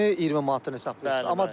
Ətini 20 manatdan hesablayırsan.